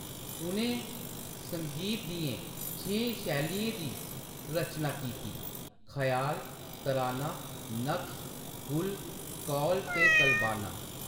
उʼनें संगीत दियें छें शैलियें दी रचना कीती : ख्याल, तराना, नक्श, गुल, कौल ते कलबाना।